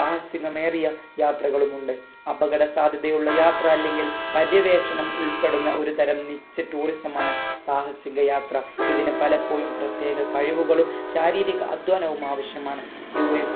സാഹസികമേറിയ യാത്രകളുമുണ്ട് അപകട സാധ്യതയുള്ള യാത്ര അല്ലെങ്കിൽ പര്യവേഷണം ഉൾപ്പെടുന്ന ഒരു തരം നിച്ച tourism മാണ് സാഹസിക യാത്ര ഇതിന് പലപ്പോഴും പ്രത്യേക കഴിവുകളും ശാരീരിക അധ്വാനവും ആവശ്യമാണ് US